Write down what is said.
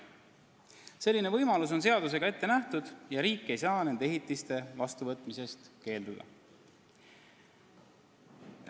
Selline võimalus on seadusega ette nähtud ja riik ei saa nende ehitiste vastuvõtmisest keelduda.